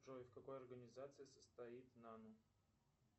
джой в какой организации состоит нана